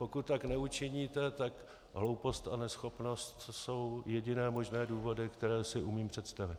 Pokud tak neučiníte, tak hloupost a neschopnost jsou jediné možné důvody, které si umím představit.